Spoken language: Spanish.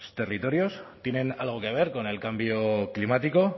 territorios tienen algo que ver con el cambio climático